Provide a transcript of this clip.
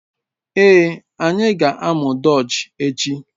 Ee, anyị ga-amụ Dutch echi